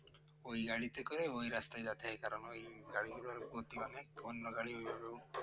ওই গাড়িতে করে ওই রাস্তায় যাতায়াত করা গাড়ির মধ্যে অনেকক্ষণ ধরো